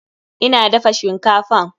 Ina dafa shinkafan.